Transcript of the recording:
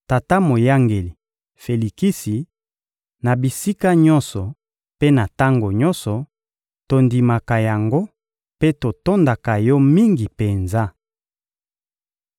Tata moyangeli Felikisi, na bisika nyonso mpe na tango nyonso, tondimaka yango mpe totondaka yo mingi penza.